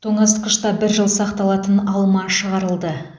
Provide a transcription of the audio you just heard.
тоңазытқышта бір жыл сақталатын алма шығарылды